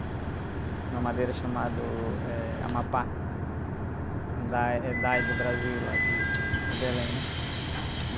Uma madeira chamado, eh, Amapá, da do Brasil, lá de, de Belém, né?